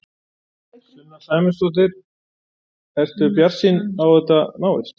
Sunna Sæmundsdóttir: Ertu bjartsýn á að þetta náist?